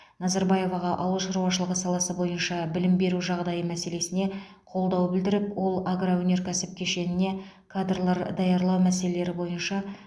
назарбаеваға ауыл шаруашылығы саласы бойынша білім беру жағдайы мәселесіне қолдау білдіріп ол агроөнеркәсіп кешеніне кадрлар даярлау мәселелері бойынша